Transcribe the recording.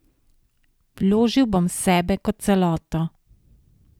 Vložil bom sebe kot celoto.